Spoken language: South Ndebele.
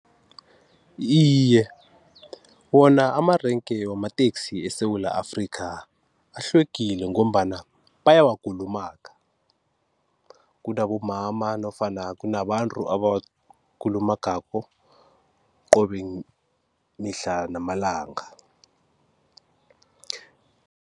Iye wona amarenke wamateksi eSewula Afrika ahlwegile ngombana bayawakulumaga kunabomama nofana kunabantu abawakulumagako qobe mihla namalanga.